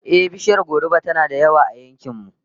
Ehh, bishiyar goruba tana da yawa a yankin mu